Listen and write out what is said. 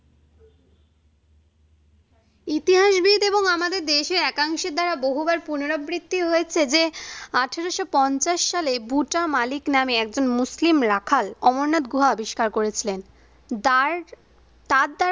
ইতিহাসবিধ এবং আমাদের দেশের একাংশে দ্বারা বহুবার পুনরাবৃত্তি হয়েছে যে আঠারোশো পঞ্চাশ সালে ভুটা মালিক নামে একজন মুসলিম রাখাল অমরনাথ গুহা আবিষ্কার করেছিলেন। দ্বার তার দ্বারা